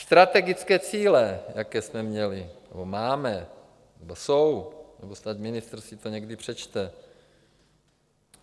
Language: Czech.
Strategické cíle, jaké jsme měli, nebo máme, nebo jsou, nebo snad ministr si to někdy přečte.